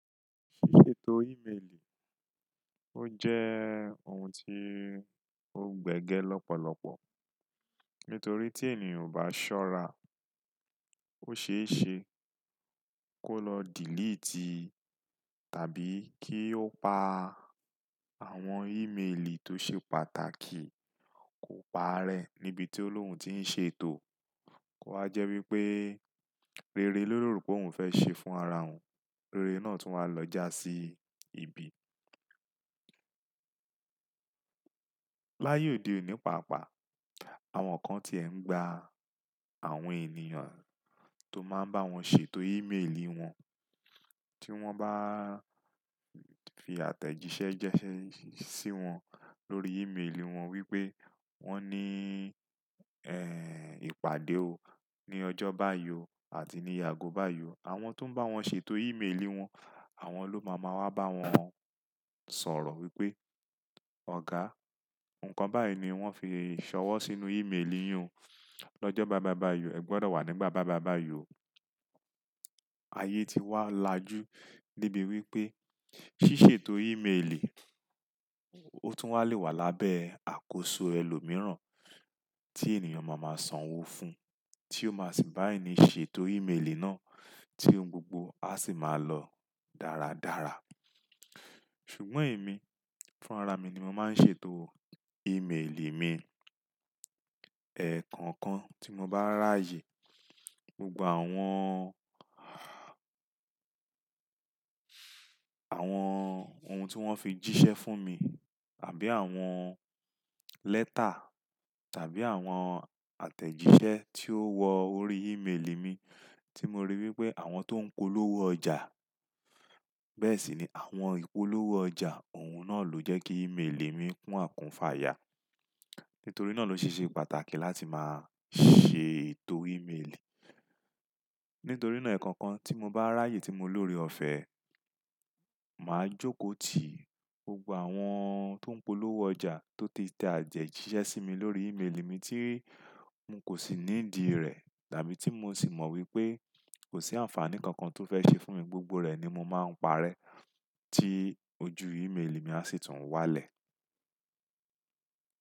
Ṣíṣètò ímeèlì ó jẹ́ ohun tí ó gbẹ́gẹ́ lọ́pọ̀lọpọ̀ nítorí tí ènìyàn o bá ṣọ́ra, ó ṣe é ṣe kó lọ delete tàbí kí ó pa àwọn ímeèlì tó ṣe pàtàkì kò paa rẹ̀ níbi tí olóhùn ti ń ṣètò. Ó wa jẹ́ wípé rere ló rò pé òun fẹ́ ṣe fún ara òun, rere náà tún wa lọ já sí ibi. Laye ode òní pàápàá, àwọn kan ti ẹ̀ ń gba àwọn ènìyàn tó máa ń bá wọn ṣètò ímeèlì wọn tí wọ́n bá fi àtẹ̀jíṣẹ́ jẹ́ṣẹ́ sí wọn lórí ímeèlì wọn wípé wón ní, ẹ́, ìpàdé o ní ọjọ́ báa yọ àti ní àgó bayi o Àwọn tó ń bá wọn ṣètò ímeèlì wọn, àwọn ló máa máa wá bá wọn sọ̀rọ̀ wípé, "Ọ̀gá, ǹkan báyìí ni wón fi ṣọwọ́ sínú ímeèlì yín o ni ọjọ́ bayi bayi o, ẹ gbọ́dọ̀ wà nígbà bayi bayi o Ayé ti wá lajú debi wípé ṣíṣètò ímeèlì ó tún wá lè wà lábẹ́ àkóso ẹlòmíràn tí ènìyàn máa máa sanwó fún, tí ó máa sì bá ẹni ṣètò ímeèlì náà tí ohun gbogbo á sì máa lọ dáradára. Ṣùgbọ́n èmi, fún ara mi ni mo máa ń ṣètò ímeèlì mi. Ẹ̀ẹ̀kọ kan tí mo bá ráyè, gbogbo àwọn, àwọn ohun tí wọ́n fi jíṣẹ́ fún mi tàbí àwọn lẹ́tà tàbí àwọn àtẹ̀jíṣẹ́ tí ó wọ ori ímeèlì mi tí mo rí wípé àwọn tó ń polówó ọjà, bẹ́ẹ̀ sì ni àwọn ìpolówó ọjà òun náà ló jẹ́ kí ímeèlì mi kún àkúnfàya nítorí náà ló ṣe ṣe pàtàkì láti máa ṣètò ímeèlì. Nítorí náà ẹ̀ẹ̀kan kan tí mo bá ráyè tí mo ni ore ọ̀fẹ́, màá jókòó tì gbogbo àwọn tó ń polówó ọjà tó ti tẹ atẹ jíṣẹ́ sí mi lórí ímeèlì mi tí mò kò sì ní ìdí rẹ̀ tàbí tí mò sì mọ̀ wípé kò sí àǹfààní kankan tó fẹ́ ṣe fún mi, gbogbo rẹ̀ ni mo máa ń parẹ́ tí ojú ímeèlì mi á sì tún wálẹ̀.